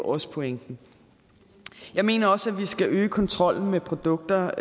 også pointen jeg mener også at vi skal øge kontrollen med produkter